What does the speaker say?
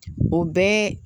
O bɛɛ